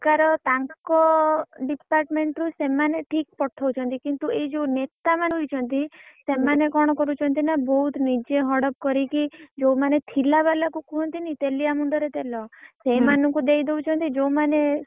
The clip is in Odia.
~ସରକାର ତା ଙ୍କ department ରୁ ସେମାନେ ଠିକ ପଠଉଛନ୍ତି କିନ୍ତୁ ଏଇ ଯୋଉ ନେ ତା ମାନେ ରହିଛନ୍ତି ସେମାନେ କଣ କରୁଛନ୍ତି ନା ବହୁତ ନିଜେ ହଡପ୍ କରିକି ଯୋଉ ମାନେ ଥିଲା ବାଲା କୁ କୁହନ୍ତିନି ତେଲିଆ ମୁଣ୍ଡରେ ତେଲ। ସେଇମାନଙ୍କୁ ଦେଇଦଉଛନ୍ତି ଯୋଉମାନେ,